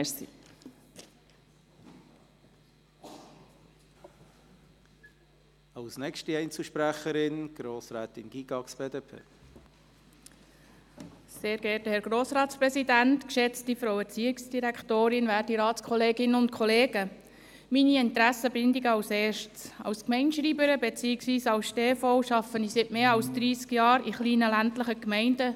Zuerst meine Interessensbindungen: Als Gemeindeschreiberin beziehungsweise als Stellvertreterin arbeite ich seit über dreissig Jahren in kleinen, ländlichen Gemeinden.